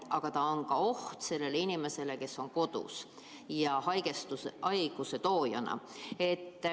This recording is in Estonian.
Aga ta on ka oht sellele inimesele, kes on kodus – ta on võimalik haiguse tooja.